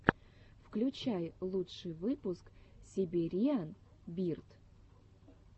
включай лучший выпуск сибириан бирд